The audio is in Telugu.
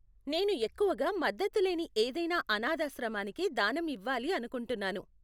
నేను ఎక్కువగా మద్దతు లేని ఏదైనా అనాధాశ్రమానికి దానం ఇవ్వాలి అనుకుంటున్నాను.